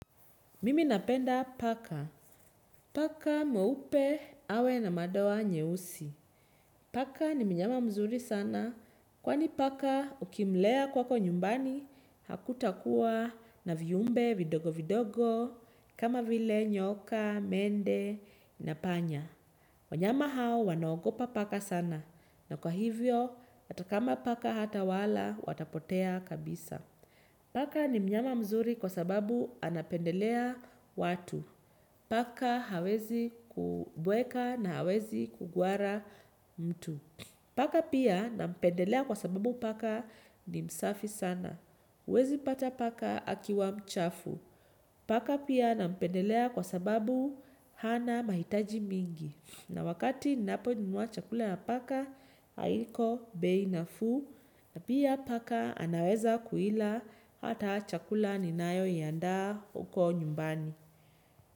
Mimi napenda paka. Paka mweupe awe na madoa nyeusi. Paka ni mnyama mzuri sana kwani paka ukimlea kwako nyumbani hakutakuwa na viumbe vidogo vidogo kama vile nyoka, mende na panya. Wanyama hao wanaogopa paka sana na kwa hivyo atakama paka hata wala watapotea kabisa. Paka ni mnyama mzuri kwa sababu anapendelea watu. Paka hawezi kubweka na hawezi kugwara mtu. Paka pia nampendelea kwa sababu paka ni msafi sana. Huwezi pata paka akiwa mchafu. Paka pia nampendelea kwa sababu hana mahitaji mingi. Na wakati ninaponunua chakula ya paka, haiko beinafu na pia paka anaweza kuila hata chakula ni nayo yanda uko nyumbani.